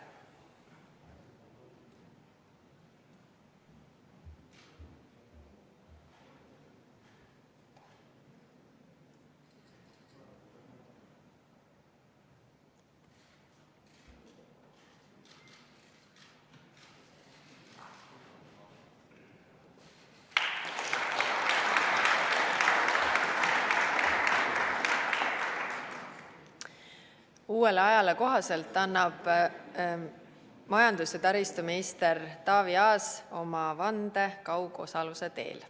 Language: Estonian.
Uuele ajale kohaselt annab majandus- ja taristuminister Taavi Aas oma vande kaugosaluse teel.